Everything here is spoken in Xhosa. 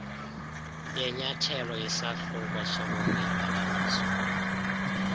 yenyathelo isahluko solungelelaniso